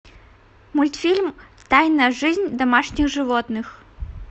мультфильм тайная жизнь домашних животных